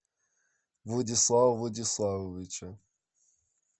владислава владиславовича